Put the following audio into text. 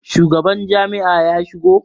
shugaban Jami'a ya shigo?